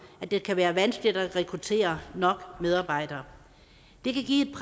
at det kan være vanskeligt at rekruttere nok medarbejdere det kan give